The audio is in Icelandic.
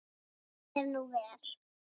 Því er nú ver.